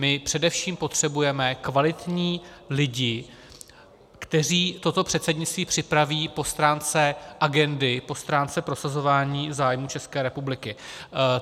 My především potřebujeme kvalitní lidi, kteří toto předsednictví připraví po stránce agendy, po stránce prosazování zájmů České republiky.